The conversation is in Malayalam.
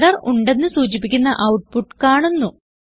എറർ ഉണ്ടെന്ന് സൂചിപ്പിക്കുന്ന ഔട്ട്പുട്ട് കാണുന്നു